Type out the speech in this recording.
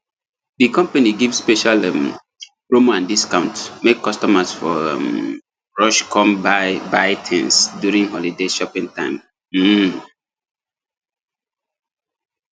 the company give special um promo and discount make customers for um rush come buy buy things during holiday shopping time um